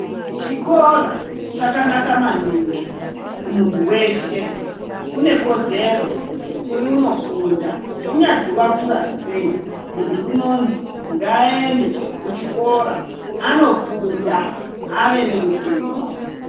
Chikora chakanaka maningi kumuntu weshe une ikodzero yekunofunda kunyazi wakura sei ,muntu unonzi ngaaende kuchikora anofunda ave neruzivo.